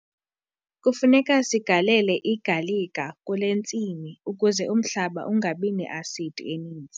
Kufuneka sigalele igalika kule ntsimi ukuze umhlaba ungabi ne-asidi eninzi.